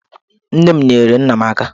Nne m nyeere nna m aka.